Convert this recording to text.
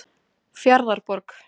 Fjarðarborg